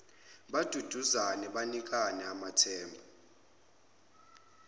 baduduzane banikane amathemba